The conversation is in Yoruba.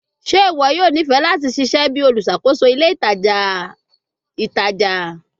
Ṣe iwọ yoo nifẹ lati ṣiṣẹ bi oluṣakoso ile itaja itaja?